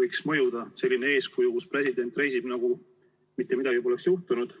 võiks mõjuda selline eeskuju, et president reisib, nagu mitte midagi poleks juhtunud?